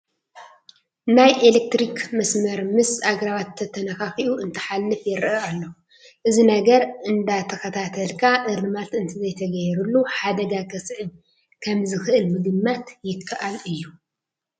ናይ ኢለክትሪክ መስመር ምስ ኣግራባት ተነኻኺኡ እንትሓልፍ ይርአ ኣሎ፡፡ እዚ ነገር እንዳተኸታተልካ እርማት እንተዘይተገይርሉ ሓደጋ ከስዕብ ከምዝኽእል ምግማት ይከኣል እዩ፡፡